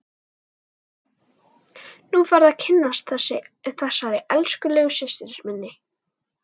Nú færðu að kynnast þessari elskulegu systur minni!